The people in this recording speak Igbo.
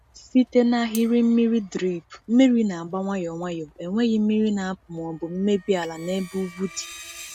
Site na ahịrị mmiri drip, mmiri na-agba nwayọ nwayọ, enweghị mmiri na-apụ ma ọ bụ mmebi ala n’ebe ugwu dị.